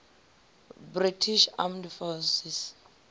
british armed forces